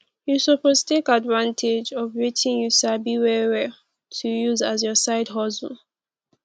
you suppose take advantage of wetin you sabi well well to use as your side hustle